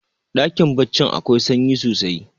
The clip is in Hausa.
dakin baccin akwai sanyi sosai